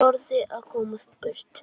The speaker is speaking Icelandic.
Hún þráði að komast burt.